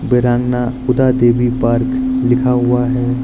वीरांगना ऊदा देवी पार्क लिखा हुआ है।